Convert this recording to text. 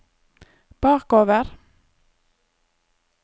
bakover